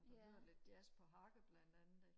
og jeg hører lidt jazz på harpe blandt andet ikke